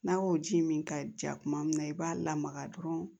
N'a y'o ji min ka ja kuma min na i b'a lamaga dɔrɔn